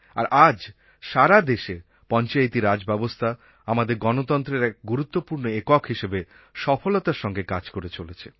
আর আজ সারা দেশে পঞ্চায়েতি রাজ ব্যবস্থা আমাদের গণতন্ত্রের এক গুরুত্বপূর্ণ একক হিসাবে সফলতার সঙ্গে কাজ করে চলেছে